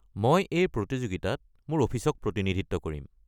মই এই প্ৰতিযোগিতাত মোৰ অফিচক প্ৰতিনিধিত্ব কৰিম।